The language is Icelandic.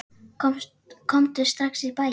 Komdu strax í bæinn.